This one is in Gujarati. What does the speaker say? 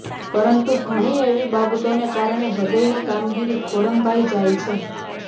પરંતુ ઘણી એવી બાબતોને કારણે હૃદયની કામગીરી ખોરંભાઈ જાય છે